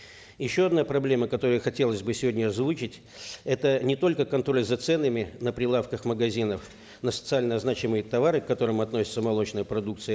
еще одна проблема которую хотелось бы сегодня озвучить это не только контроль за ценами на прилавках магазинов на социально значимые товары к которым относится молочная продукция